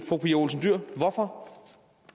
fru pia olsen dyhr hvorfor